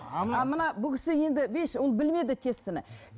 ал мына кісі бұл кісі енді ол білмеді